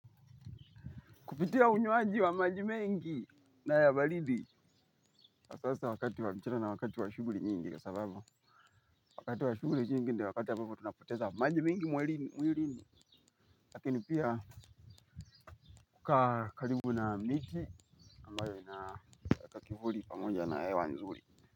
Kupitia unywaji wa maji mengi na ya baridi. Asasa wakati wa mchezo na wakati wa shuguri nyingi. Sababu, wakati wa shuguri nyingi ndi wakati wa mingi tunapoteza maji mingi mwilini. Lakini pia, kukaa karibu na miti. Ambayo ina eka kivuli pamoja na ewa nzuri.